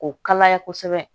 K'o kalaya kosɛbɛ